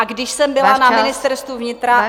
A když jsem byla na Ministerstvu vnitra...